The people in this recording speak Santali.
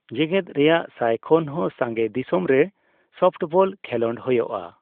ᱡᱮᱜᱮᱫ ᱨᱮᱭᱟᱜ ᱥᱟᱭ ᱠᱷᱚᱱ ᱦᱚᱸ ᱥᱟᱸᱜᱮ ᱫᱤᱥᱚᱢ ᱨᱮ ᱥᱚᱯᱷᱴᱵᱚᱞ ᱠᱷᱮᱞᱚᱰ ᱦᱳᱭᱳᱜᱼᱟ ᱾